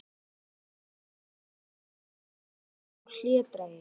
Einnig eru þeir frekar feimnir og hlédrægir.